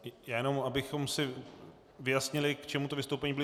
Jen abychom si vyjasnili, k čemu to vystoupení bylo.